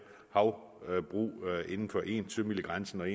havbrug inden for en sømile grænsen og